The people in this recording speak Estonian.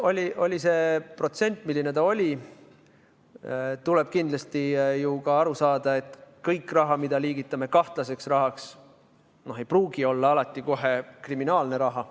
Aga oli see protsent, milline ta oli, kindlasti tuleb ju ka aru saada, et kogu raha, mille liigitame kahtlaseks rahaks, ei pruugi olla kriminaalne raha.